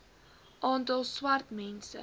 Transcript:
aantal swart mense